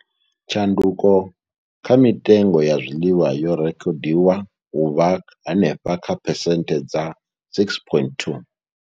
Tshanduko kha mitengo ya zwiḽiwa yo rekhodiwa u vha henefha kha phesenthe dza 6.2.